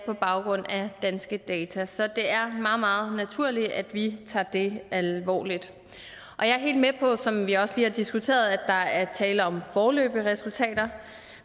på baggrund af danske data så det er meget meget naturligt at vi tager det alvorligt jeg er helt med på som vi også lige har diskuteret at der er tale om foreløbige resultater